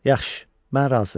Yaxşı, mən razı.